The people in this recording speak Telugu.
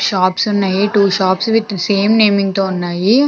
షాప్స్ ఉన్నాయి. Two shops with same name తో ఉన్నాయి.